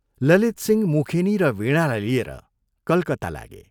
ललितसिंह मुखेनी र वीणालाई लिएर कलकत्ता लागे।